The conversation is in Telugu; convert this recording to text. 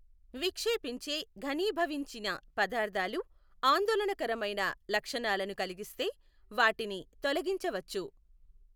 విక్షేపించే ఘనీభవించిన పదార్థాలు ఆందోళనకరమైన లక్షణాలను కలిగిస్తే వాటిని తొలగించవచ్చు.